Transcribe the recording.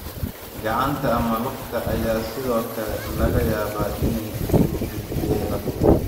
Gacanta ama lugta ayaa sidoo kale laga yaabaa inay ku lug yeelato.